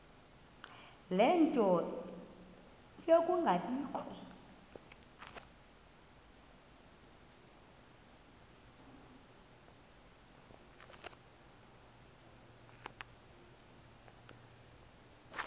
ie nto yokungabikho